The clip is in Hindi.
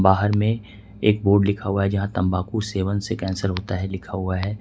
बाहर में एक बोर्ड लिखा हुआ है यहां तंबाकू सेवन से कैंसर होता है लिखा हुआ है।